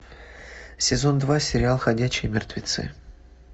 сезон два сериал ходячие мертвецы